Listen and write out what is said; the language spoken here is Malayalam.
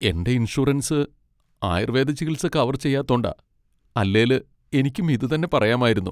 എന്റെ ഇൻഷുറൻസ് ആയുർവേദ ചികിത്സ കവർ ചെയ്യാത്തോണ്ടാ. അല്ലേല് എനിക്കും ഇതുതന്നെ പറയാമായിരുന്നു.